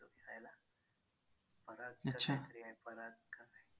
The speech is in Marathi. असंच काहीतरी आहे पराग का काही